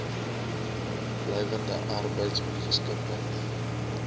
blywende arbeids ongeskiktheid